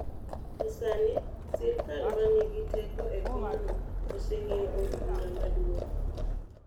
To sani, sirkal ma nigi teko e pinyno, oseng'iyo Od Bura Maduong '.